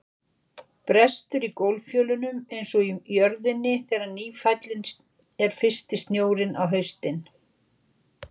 Brestur í gólffjölunum einsog í jörðinni þegar nýfallinn er fyrsti snjórinn á haustin.